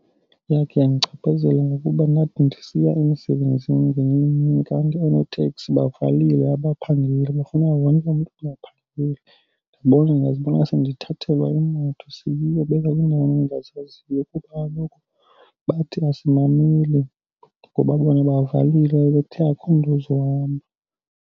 Yakhe yandichaphazela ngokuba ndathi ndisiya emisebenzini ngenye imini kanti oonoteksi bavalile abaphangeli. Kwafuneka wonke umntu angaphangeli. Ndibona, ndazibona sendithathelwa imoto seyobekwa kwiindawo endingazaziyo kuba kaloku bathi asimameli ngoba bona bavalile, bebethe akho mntu ozohamba.